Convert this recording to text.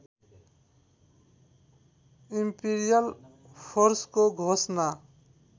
Imperial फोर्सको घोषणा